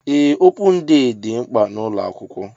Ee opun dee dị mkpa n'ụlọ akwụkwọ